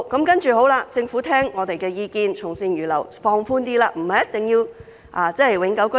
其後，政府聽取我們的意見，從善如流，稍為放寬要求，申請人不一定要是永久性居民。